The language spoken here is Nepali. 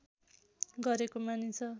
गरेको मानिन्छ